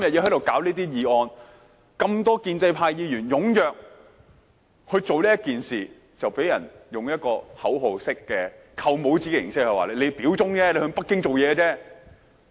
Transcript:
這麼多建制派議員踴躍做這件事，便被人以口號式、"扣帽子"形式說我們表忠，為北京做事。